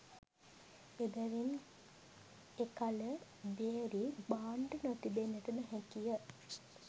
එබැවින් එකල භේරී භාණ්ඩ නොතිබෙන්නට නොහැකිය